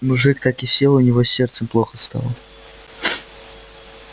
мужик так и сел у него с сердцем плохо стало